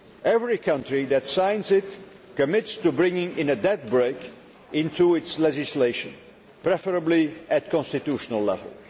Every country that signs it commits itself to bringing a debt brake' into its legislation, preferably at constitutional level.